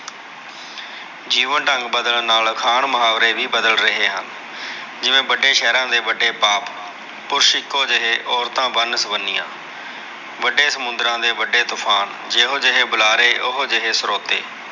ਜੀਵਨ ਢੰਗ ਬਦਲਣ ਨਾਲ ਅਖਾਣ ਮੁਹਾਵਰੇ ਵੀ ਬਦਲ ਰਹੇ ਹਨ। ਜਿਵੇ ਵੱਡੇ ਸ਼ਹਿਰਾ ਦੇ ਵੱਡੇ ਪਾਪ, ਪੁਰਸ਼ ਇਕੋਂ ਜਿਹੇ ਔਰਤਾਂ ਵੰਨ-ਸੁਵੰਨੀਆ। ਵੱਡੇ ਸਮੁੰਦਰਾਂ ਦੇ ਵੱਡੇ ਤੂਫ਼ਾਨ, ਜਿਹੋ ਜਿਹੇ ਬੁਲਾਰੇ ਉਹੋ ਜਿਹੇ ਸੋਰੋਤੇ